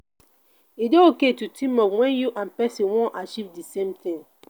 e de okay to team up when you and persin won achieve di same thing